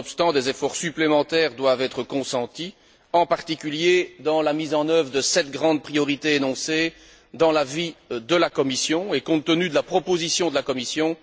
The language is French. Nonobstant cela, des efforts supplémentaires doivent être consentis, en particulier dans la mise en œuvre des sept grandes priorités énoncées dans l'avis de la Commission, et compte tenu de la proposition de la Commission,